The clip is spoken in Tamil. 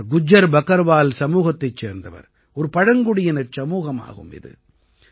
இவர் குஜ்ஜர் பக்கர்வால் சமூகத்தைச் சேர்ந்தவர் ஒரு பழங்குடியினச் சமூகமாகும் இது